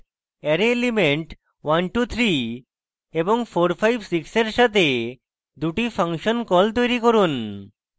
array elements 123 এবং 456 এর সাথে দুটি ফাংশন calls তৈরী করুন